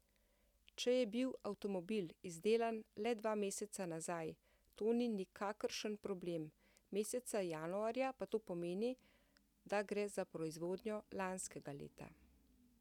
Če je bil avtomobil izdelan le dva meseca nazaj, to ni nikakršen problem, meseca januarja pa to pomeni, da gre za proizvodnjo lanskega leta.